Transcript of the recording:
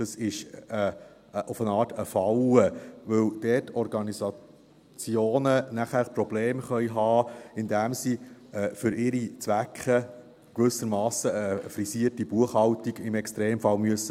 Das ist eine Art Falle, weil Organisationen dann dort Probleme haben könnten, indem sie für ihre Zwecke in gewissem Masse, im Extremfall, eine frisierte Buchhaltung vorlegen müssen.